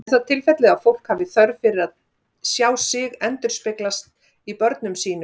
Er það tilfellið að fólk hafi þörf fyrir að sjá sig endurspeglast í börnum sínum?